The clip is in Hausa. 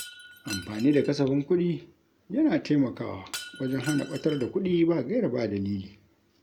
Amfani da kasafin kuɗi, yana taimakawa wajen hana ɓatar da kuɗi ba gaira ba dalili.